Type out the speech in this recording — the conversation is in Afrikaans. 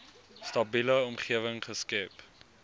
stabiele omgewing geskep